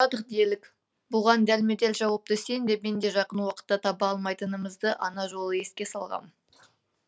сұрадық делік бұған дәлме дәл жауапты сен де мен де жақын уақытта таба алмайтынымызды ана жолы еске салғам